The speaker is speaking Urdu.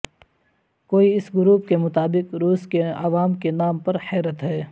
کوئی اس گروپ کے مطابق روس کے عوام کے نام پر حیرت ہے